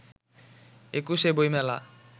একুশে বইমেলা